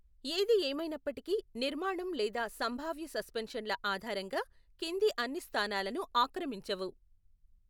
ఏది ఏమైనప్పటికీ నిర్మాణం లేదా సంభావ్య సస్పెన్షన్ల ఆధారంగా కింది అన్ని స్థానాలను ఆక్రమించవు.